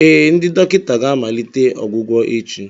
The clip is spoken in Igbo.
Ee, ndị dọkịta ga-amalite ọgwụgwọ echi